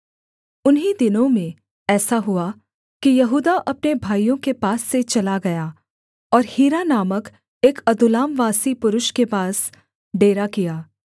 उन्हीं दिनों में ऐसा हुआ कि यहूदा अपने भाइयों के पास से चला गया और हीरा नामक एक अदुल्लामवासी पुरुष के पास डेरा किया